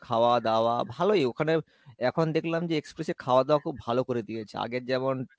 খাওয়া দাওয়া খুব ভালো করে দিয়েছে আগের যেমন